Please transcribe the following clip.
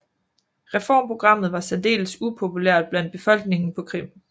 Reformprogrammet var særdels upopulært blandt befolkningen på Krim